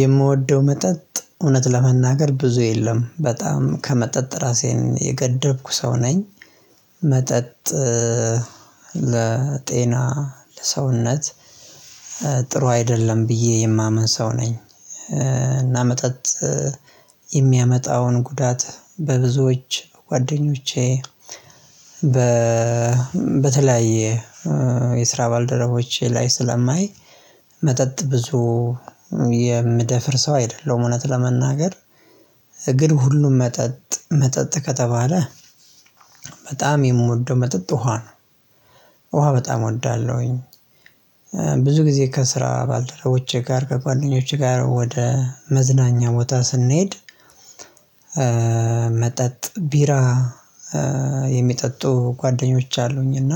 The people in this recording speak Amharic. የምወደው መጠጥ እውነት ለመናገር ብዙ የለም በጣም ከመጠጥ ራሴን የገደብኩ ሰው ነኝ። መጠጥ ለጤና ለሰውነት ጥሩ አይደለም ብዬ የማምን ሰው ነኝ። እና መጠጥ የሚያመጣውን ጉዳት በብዙዎች ጓደኞቼ በ በተለያየ የስራ ባልደረቦቼ ላይ ስለማይ መጠጥ ብዙ የምደፍር ሰው አይደለሁም። እውነት ለመናገር ግን ሁሉም መጠጥ መጠጥ ከተባለ በጣም የምወደው መጠጥ ውሃ ነው። ውሃ በጣም እወዳለሁኝ። ብዙ ጊዜ ከስራ ባልደረቦቼ ጋር ከጓደኞቼ ጋር ወደ መዝናኛ ቦታ ስንሄድ። መጠጥ ቢራ የሚጠጡ ጓደኞች አሉኝና